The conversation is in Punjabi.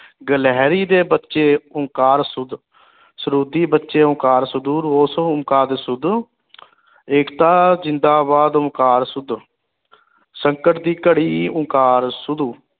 ਗਿਲਹੇਰੀ ਦੇ ਬੱਚੇ ਓਂਕਾਰ ਸੂਦ ਸਰੂਦੀ ਬੱਚੇ ਓਂਕਾਰ ਸਦੂਰ ਓਂਕਾਰ ਏਕਤਾ ਜ਼ਿੰਦਾਬਾਦ ਓਂਕਾਰ ਸੂਦ ਸੰਕਟ ਦੀ ਘੜੀ ਓਂਕਾਰ ਸਦੂਰ